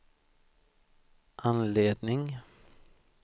anledning